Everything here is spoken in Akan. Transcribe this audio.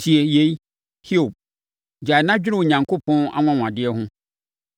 “Tie yei, Hiob; gyae na dwene Onyankopɔn anwanwadeɛ ho.